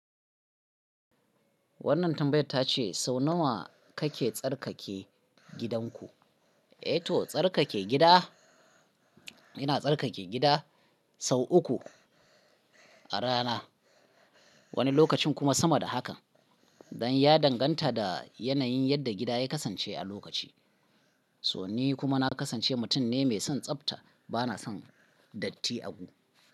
Wannan tambayar ta ce sau nawa kake tsarkake gidanku? Eh to tsarkake gida. Ina tsarkake gida sau uku a rana, wani lokacin kuma sama da haka. Dan ya danganta da yanayin yadda gida ya kasance a lokaci. To ni kuma na kasance mutum ne mai son tsafta, bana son datti agu.